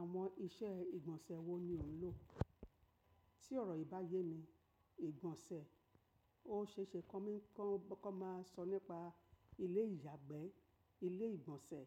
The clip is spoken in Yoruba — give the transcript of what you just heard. Àwọn iṣẹ́ ìgbọ̀nsẹ̀ wo ni ò ń lò? Tí ọ̀rọ̀ yìí bá yé mi, ìgbọ̀nsẹ̀ ó ṣe ṣe kó máa sọ nípa ilé ìyàgbẹ́, ilé ìgbọ̀nsẹ̀,